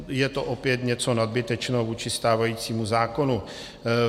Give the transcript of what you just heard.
Je to opět něco nadbytečného vůči stávajícímu zákonu.